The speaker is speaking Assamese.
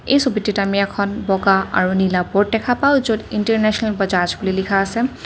এই ছবিটিত আমি এখন বগা আৰু নীলা বৰ্ড দেখা পাওঁ য'ত ইন্টাৰনেচনেল বাজাজ বুলি লিখা আছে।